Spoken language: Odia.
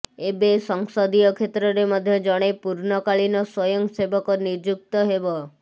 ଏବେ ସଂସଦୀୟ କ୍ଷେତ୍ରରେ ମଧ୍ୟ ଜଣେ ପୂର୍ଣ୍ଣକାଳୀନ ସ୍ୱୟଂ ସେବକ ନିଯୁକ୍ତ ହେବ